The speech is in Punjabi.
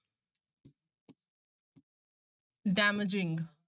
damaging